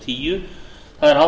virðulegi forseti á